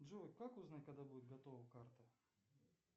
джой как узнать когда будет готова карта